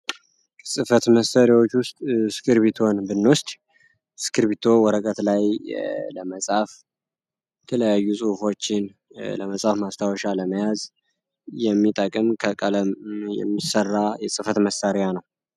ከፅህፈት መሳሪያዎች ዉስጥ እስክቢርቶን ብንወስድ እስከብሪቶ ወረቀት ላይ ለመጻፍ የተለያዩ ፁሁፎችን ለመፃፍ ማስታወሻ ለመያዝ የሚጠቅም ከቀለም የሚሰራ የጽህፈት መሣሪያ ነው።